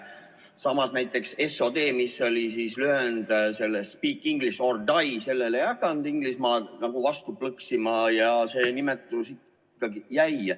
Samas, näiteks S.O.D., mis oli lühend Speak English or Die, sellele ei hakanud Inglismaa vastu plõksima ja see nimetus ikkagi jäi.